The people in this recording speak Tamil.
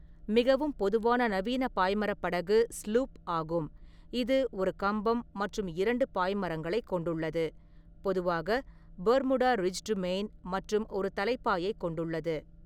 மிகவும் பொதுவான நவீன பாய்மரப் படகு ஸ்லூப் ஆகும், இது ஒரு கம்பம் மற்றும் இரண்டு பாய்மரங்களைக் கொண்டுள்ளது, பொதுவாக பெர்முடா ரிஜ்டு மெயின் மற்றும் ஒரு தலைப்பாயை கொண்டுள்ளது.